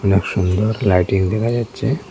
অনেক সুন্দর লাইটিং দেখা যাচ্ছে।